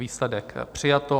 Výsledek: přijato.